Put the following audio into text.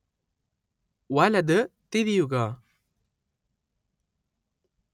വലത് തിരിയുക